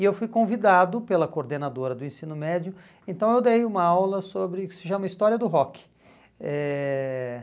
e eu fui convidado pela coordenadora do ensino médio, então eu dei uma aula sobre o que se chama História do Rock. Eh